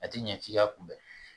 A ti ɲɛ k'i ka kunbɛn